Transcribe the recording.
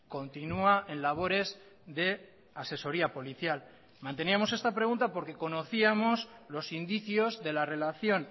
continúa en labores de asesoría policial manteníamos esta pregunta porque conocíamos los indicios de la relación